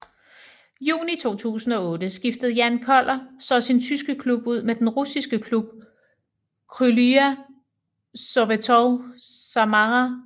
Juni 2008 skiftede Jan Koller så sin tyske klub ud med den russiske klub Krylya Sovetov Samara